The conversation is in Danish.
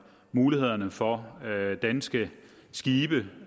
mulighederne for at danske skibe